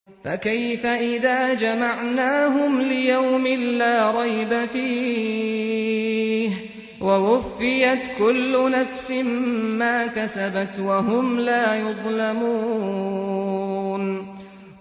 فَكَيْفَ إِذَا جَمَعْنَاهُمْ لِيَوْمٍ لَّا رَيْبَ فِيهِ وَوُفِّيَتْ كُلُّ نَفْسٍ مَّا كَسَبَتْ وَهُمْ لَا يُظْلَمُونَ